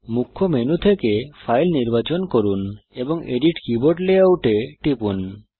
মুখ্য মেনু থেকে ফাইল নির্বাচন করুন এবং এডিট কিবোর্ড লেআউট এ টিপুন